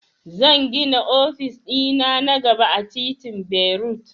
Zan gina ofis dina na gaba a titin berut